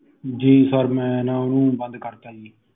ਜੀ sir ਮੈਂ ਨਾ ਓਹਨੂੰ ਬੰਦ ਕਰਤਾ